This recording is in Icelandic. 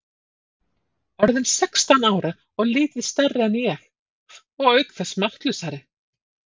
Orðinn sextán ára og lítið stærri en ég, og auk þess máttlausari.